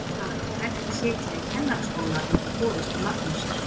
Það var ekki hægt að sitja í kennaraskóla undir forystu Magnúsar